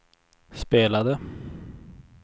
spelade